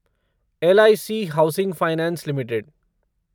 LIC housing finance limited